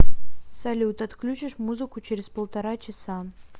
салют отключишь музыку через полтора часа